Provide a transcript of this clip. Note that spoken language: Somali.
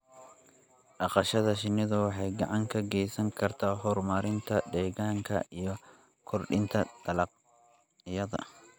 Dhaqashada shinnidu waxay gacan ka geysan kartaa horumarinta deegaanka iyo kordhinta dalagyada.